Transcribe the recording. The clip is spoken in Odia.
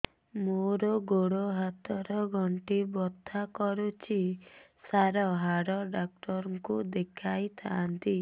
ମୋର ଗୋଡ ହାତ ର ଗଣ୍ଠି ବଥା କରୁଛି ସାର ହାଡ଼ ଡାକ୍ତର ଙ୍କୁ ଦେଖାଇ ଥାନ୍ତି